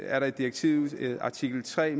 er der i direktivets artikel tre